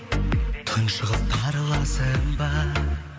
тұншығып тарыласың ба